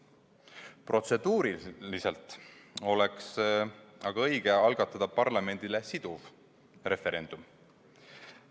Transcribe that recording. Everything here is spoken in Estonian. Protseduuriliselt oleks õige algatada parlamendile siduv referendum.